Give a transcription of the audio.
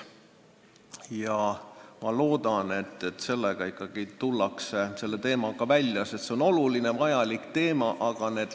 Aga ma loodan, et selle teemaga tullakse ikkagi välja, sest see on oluline ja vajalik teema, ent ...